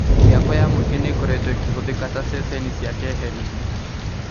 Mĩako ya mũingi nĩ ĩkoretwo ĩkĩhũthĩka ta ceceni cia keheri-inĩ